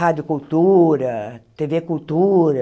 Rádio Cultura, Tê Vê Cultura...